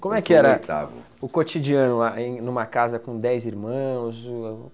Como é que era o cotidiano em uma casa com dez irmãos? O